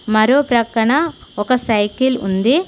మరో ప్రక్కన ఒక సైకిల్ ఉంది.